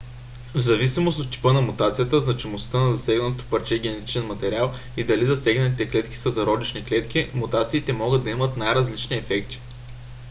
взависимост от типа на мутацията значимостта на засегнатото парче генетичен материал и дали засегнатите клетки са зародишни клетки мутациите могат да имат най-различни ефекти